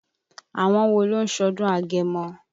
Àwọn wo ló ń ṣọdún Agemọ?